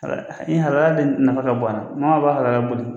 Halala de nafa ka bon a na maa ma b'a halala boli